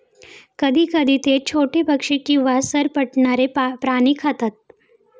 कधीकधी ते छोटे पक्षी किंवा सरपटणारे प्राणी खातात.